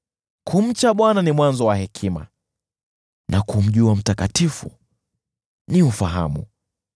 “Kumcha Bwana ndicho chanzo cha hekima, na kumjua Aliye Mtakatifu ni ufahamu.